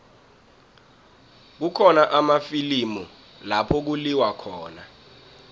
kukhona amafilimu lapho kuliwa khona